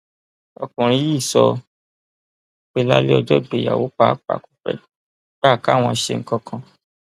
ọkùnrin yìí sọ pé lálẹ ọjọ ìgbéyàwó pàápàá kò fẹẹ gbà káwọn ṣe nǹkan kan